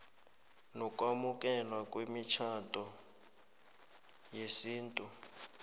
nokwamukelwa kwemitjhado yesintu